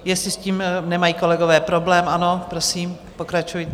Jestli s tím nemají kolegové problém ano, prosím, pokračujte.